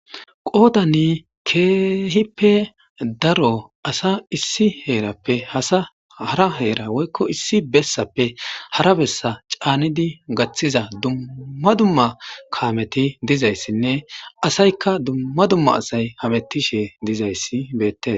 qoodani keehippe daro asa issi heerappe hara heera woykko issi bessappe hara bessa caanidi gaththiza dumma dumma kaameti dizayssinne asayka dumma dumma asay hamettishe dizayssi bette